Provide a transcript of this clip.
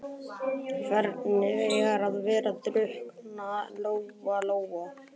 Hvernig er að vera drukknaður, Lóa Lóa?